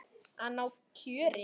Að ná kjöri.